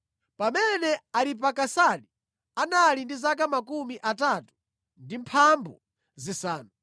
Pamene Aripakisadi anali ndi zaka 35, anabereka Sela.